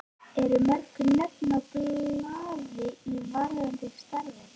Eru mörg nöfn á blaði varðandi starfið?